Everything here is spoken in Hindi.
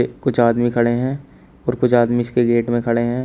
कुछ आदमी खड़े हैं और कुछ आदमी इसके गेट में खड़े हैं।